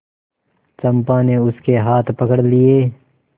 चंपा ने उसके हाथ पकड़ लिए